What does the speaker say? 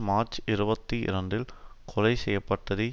மார்ச்இருபத்தி இரண்டில் கொலை செய்ய பட்டதை